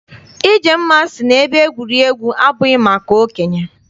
Ijemma sị na ebe egwuregwu abụghị maka okenye.